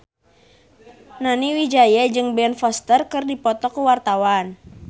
Nani Wijaya jeung Ben Foster keur dipoto ku wartawan